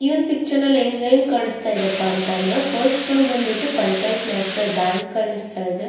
ಈ ಒಂದು ಪಿಕ್ಚರಲ್ಲಿ ಏನ್ ಕಾಣಸ್ತಾ ಇದೆಯಪ್ಪಾಅಂತ ಅಂದ್ರೆ ಫಸ್ಟ್ ಒಂದ ಬಂದಬಿಟ್ಟು ಪಂಚಾಯತ್ ನ್ಯಾಷನಲ್ ಬ್ಯಾಂಕ್ ಕಾಣಸ್ತಾ ಇದೆ.